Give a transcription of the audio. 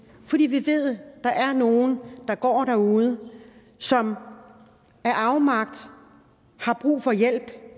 fordi vi ved at der er nogle der går derude som af afmagt har brug for hjælp